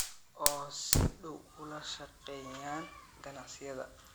oo si dhow ula shaqeeyaan ganacsiyada